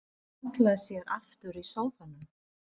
Hún hallar sér aftur í sófanum.